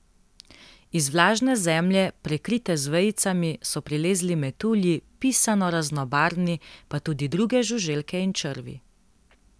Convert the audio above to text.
Iz vlažne zemlje, prekrite z vejicami, so prilezli metulji, pisano raznobarvni, pa tudi druge žuželke in črvi.